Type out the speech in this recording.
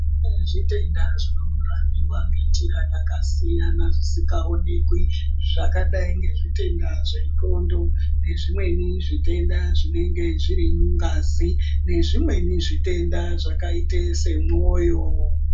Kune zvitenda zvinorapiwa ngenjira dzakasiyana dzisikaonekwi zvakadai ngezvitenda zvendxondo. Nezvimweni zvitenda zvinenge zviri mungazi. Nevimweni zvitenda zvakaita semwoyo.